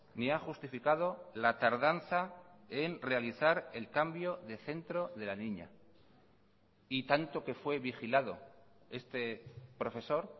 ni ha justificado la tardanza en realizar el cambio de centro de la niña y tanto que fue vigilado este profesor